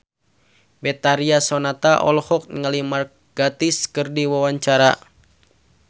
Betharia Sonata olohok ningali Mark Gatiss keur diwawancara